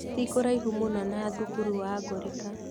Ti kũraihu mũno na thukuru wa Ngorika